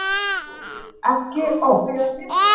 Ekki oft.